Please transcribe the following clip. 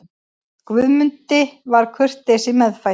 Guðmundi var kurteisi meðfædd.